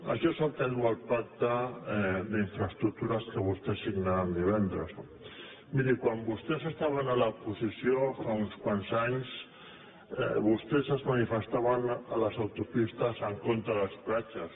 això és el que diu el pacte d’infraestructures que vostès signaran divendres no miri quan vostès estaven a l’oposició fa uns quants anys vostès es manifestaven a les autopistes en contra dels peatges